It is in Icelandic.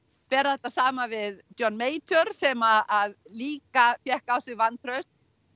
bera þetta saman við John sem að líka fékk á sig vantraust